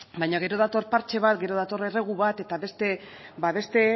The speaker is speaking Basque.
baina gero dator partxe bat gero dator erregu bat eta beste